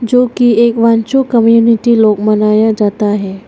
जोकि एक वांग्चू कम्युनिटी लोग मनाया जाता है।